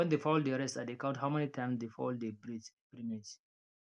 when the fowl dey rest i dey count how many time the fowl dey breathe every minute